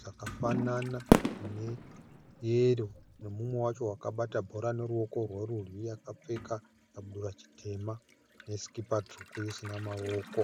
dzakafanana neyero nemumwe wacho akabata bhora neruoko rwerudyi akapfeka chikabudura chitema nesikipa isina maoko.